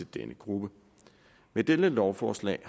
denne gruppe med dette lovforslag